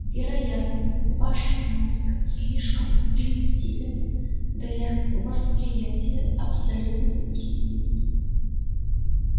вероятно ваш мозг слишком примитивен для восприятия абсолютной истины